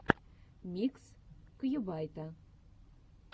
микс кьюбайта